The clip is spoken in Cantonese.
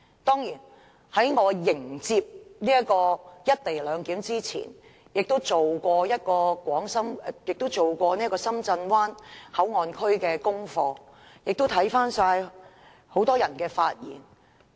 當然，我在迎接"一地兩檢"這件事之前，亦曾做有關深圳灣口岸區的功課，並翻看很多人的發言。